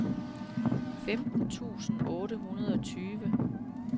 femten tusind otte hundrede og tyve